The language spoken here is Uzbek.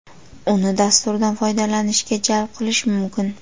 Uni dasturdan foydalanishga jalb qilish mumkin.